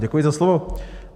Děkuji za slovo.